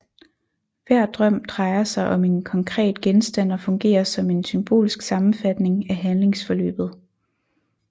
Hver drøm drejer sig om en konkret genstand og fungerer som en symbolsk sammenfatning af handlingsforløbet